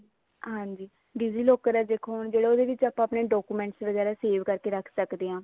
ਹਾਂਜੀ digi locker ਨੇ ਦੇਖੋ ਜਿਹੜੇ ਉਹਦੇ ਵਿੱਚ ਆਪਾਂ ਆਪਣੇ documents ਵਗੇਰਾ save ਕਰਕੇ ਰੱਖ ਸਕਦੇ ਹਾਂ